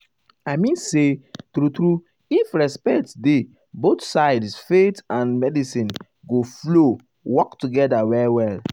i mean say true true if respect dey both sides faith and medicine go flow work together well well.